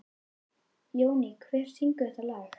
Jóný, hver syngur þetta lag?